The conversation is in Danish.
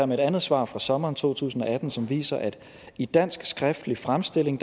med et andet svar fra sommeren to tusind og atten som viser at i dansk skriftlig fremstilling